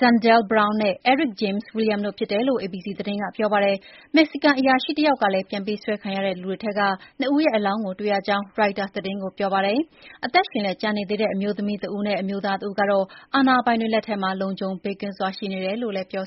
Zindell Brown နဲ့ Eric James Williams တို့ ဖြစ်တယ်လို့ ABC သတင်းကပြောပါတယ်။ မက္ကဆီကန်အရာရှိတယောက်ကလည်း ပြန်ပေးဆွဲခံရတဲ့လူတွေထဲက ၂ ဦးရဲ့ အလောင်းကို တွေ့ရကြောင်း ရိုက်တာသတင်းကိုပြောပါတယ်။ အသက်ရှင်လျက်ကျန်နေသေးတဲ့ အမျိုးသမီးတဦးနဲ့ အမျိုးသားတဦးကတော့ အာဏာပိုင်တွေလက်ထဲမှာ လုံခြုံဘေးကင်းစွာရှိနေတယ်လု့ိလည်း ပြော